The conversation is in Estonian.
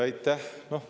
Aitäh!